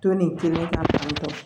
To nin kelen na fan bɛɛ